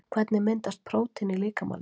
Hvernig myndast prótín í líkamanum?